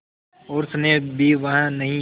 और स्नेह भी वह नहीं